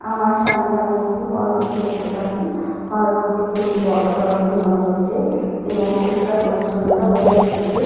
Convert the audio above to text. আমার সামনে আমি একটি হল রুম দেখতে পাচ্ছি। হল রুম টি খুবই বড়সড় বলে মনে হচ্ছে এবং পরিষ্কার পরিছন্নতা বজায় রেখেছে।